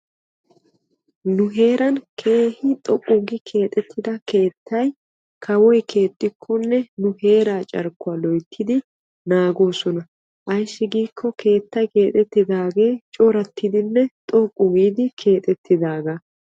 Nu heeran keehi xoqqu giidi keexetidda keettay kawoy keexxikkonne nu heera carkkuwa loyttiddi naagosonna ayssi giikko keettay keexettidage coratiddinne xoqqu giidi keexetidaaga.